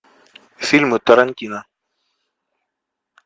фильмы тарантино